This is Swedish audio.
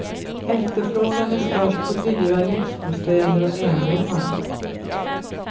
Efterfrågan är störst på dyra lyxbostäder och enrummare.